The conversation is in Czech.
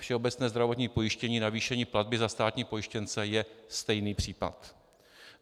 Všeobecné zdravotní pojištění, navýšení platby za státní pojištěnce - je stejný případ.